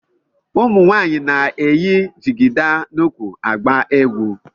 Ụmụ nwaanyị na-eyi jigida n'ukwu. agba egwu.